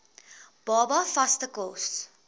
baba vaste kos